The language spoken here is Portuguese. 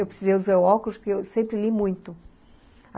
Eu precisei usar óculos porque eu sempre li muito.